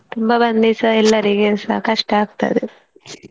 ತುಂಬಾ ಬಂದ್ರೆ ಸ ಎಲ್ಲರಿಗೆ ಸ ಕಷ್ಟ ಆಗ್ತದೆ .